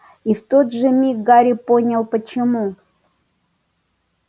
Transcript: и в тот же миг гарри понял почему